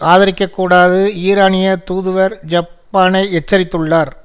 ஆதரிக்கக்கூடாது ஈரானிய தூதுவர் ஜப்பானை எச்சரித்துள்ளார்